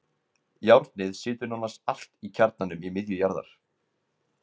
Járnið situr nánast allt í kjarnanum í miðju jarðar.